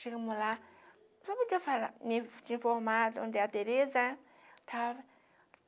Chegamos lá, senhora podia falar, me me informar de onde é a Tereza, estava.